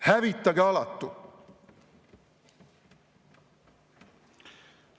Hävitage alatu!